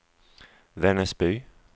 Vännäsby